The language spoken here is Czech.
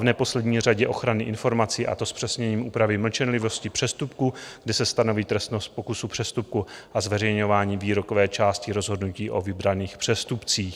v neposlední řadě ochranu informací, a to zpřesněním úprav mlčenlivosti přestupků, kdy se stanoví trestnost pokusu přestupku a zveřejňování výrokové části rozhodnutí o vybraných přestupcích.